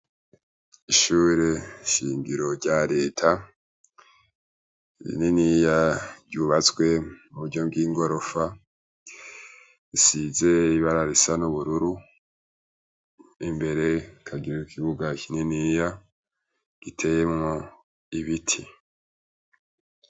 Ishure shingiro rya leta rininiya, ryubatswe mu buryo bw'igorofa. Risize ibara risa n'ubururu n'imbere rikagira ikibuga kininiya giteyemwo ibiti.